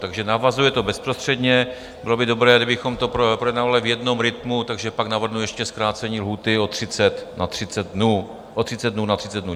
Takže navazuje to bezprostředně, bylo by dobré, kdybychom to projednávali v jednom rytmu, takže pak navrhnu ještě zkrácení lhůty o 30 dnů na 30 dnů.